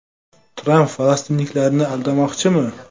Tramp falastinliklarni aldamoqchimi?